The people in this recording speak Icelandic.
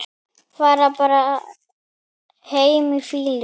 Fara bara heim í fýlu?